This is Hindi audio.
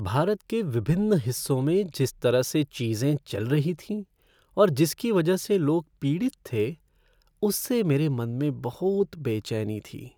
भारत के विभिन्न हिस्सों में जिस तरह से चीजें चल रही थीं और जिसकी वजह से लोग पीड़ित थे, उससे मेरे मन में बहुत बेचैनी थी।